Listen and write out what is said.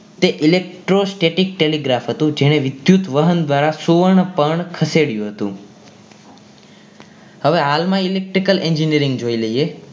તે electrostatic telegraph હતું જેણે વિદ્યુત વહન દ્વારા સુવર્ણ પર્ણ ખસેડ્યું હતું હવે હાલમાં electrical engineering જોઈ લઈએ